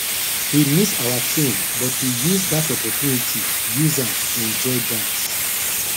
we miss our train but we use that opportunity use am enjoy dance